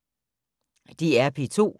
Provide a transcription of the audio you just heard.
DR P2